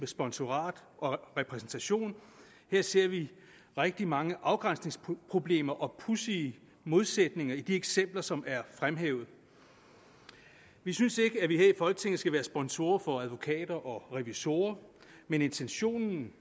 sponsorat og repræsentation ser vi rigtig mange afgrænsningsproblemer og pudsige modsætninger i de eksempler som er fremhævet vi synes ikke at vi her i folketinget skal være sponsorer for advokater og revisorer men intentionen